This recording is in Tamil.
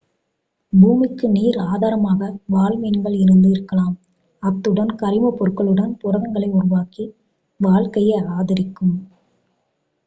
பூமிக்கு நீர் ஆதாரமாக வால்மீன்கள் இருந்து இருக்கலாம் அத்துடன் கரிமப் பொருட்களுடன் புரதங்களை உருவாக்கி வாழ்க்கையை ஆதரிக்கும்